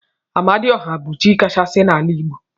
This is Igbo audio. Amadi ọha bu chi kachasi na ala igbo.